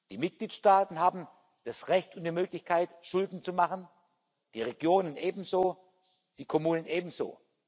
Die Mitgliedstaaten haben das Recht und die Möglichkeit, Schulden zu machen, die Regionen ebenso, die Kommunen ebenso.